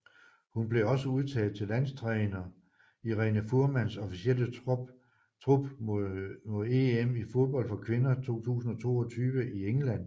Hun blev også udtaget til landstræner Irene Fuhrmanns officielle trup mod EM i fodbold for kvinder 2022 i England